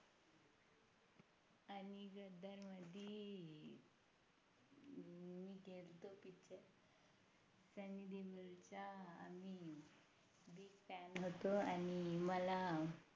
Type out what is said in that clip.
Fan होतो आणि मला